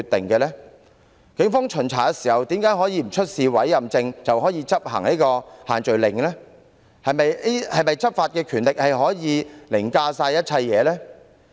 警方在巡查時為何無須出示委任證，便可執行限聚令，是否執法權力可凌駕一切？